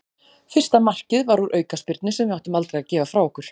Fyrsta markið var úr aukaspyrnu sem við áttum aldrei að gefa frá okkur.